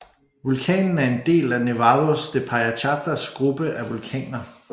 Vulkanen er en del af Nevados de Payachatas gruppe af vulkaner